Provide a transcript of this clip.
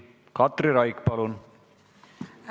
Katri Raik, palun!